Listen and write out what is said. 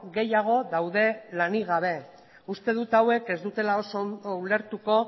gehiago daude lanik gabe uste dut hauek ez dutela oso ondo ulertuko